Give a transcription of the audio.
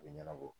A bɛ ɲɛnabɔ